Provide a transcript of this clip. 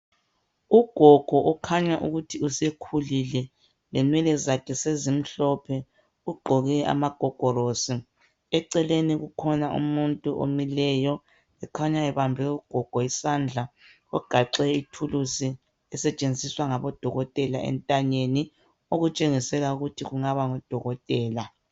Ugogo ukhanya ukuthi usekhulile. Lenwele zakhe sezimhlophe. Ugqoke amagogorosi. Eceleni kukhona umuntu omileyo okhanya ebambe ugogo isandla, ogaxe ithuluzi esetshenziswa ngabodokotela entanyeni okutshengisela ukuthi kungaba ngudokotela.